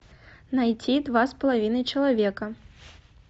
найти два с половиной человека